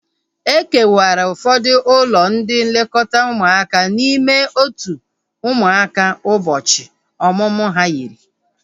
E kewara ụfọdụ ụlọ ndị nlekọta ụmụaka n'ime otu ụmụaka ụbọchị ọmụmụ ha yiri